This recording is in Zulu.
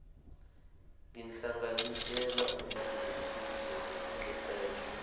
lenhlanganisela yemfundo nokuqeqesha